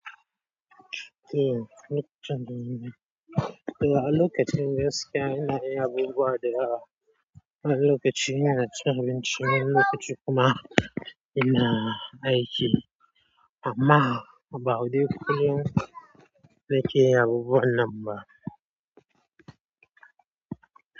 Lokacin de eh a lokacin gaskiya ina wasu abubuwa dayawa wani lokaci ina cin abinci wani lokaci kuma ina aiki amma ba dai kullum nake yin abubuwan nan ba.